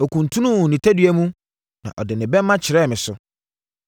Ɔkuntunuu ne tadua mu na ɔde ne bɛmma kyerɛɛ me so.